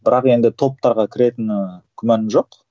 бірақ енді топтарға кіретіні күмәнім жоқ